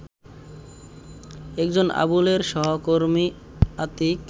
একজন আবুলের সহকর্মী আতীক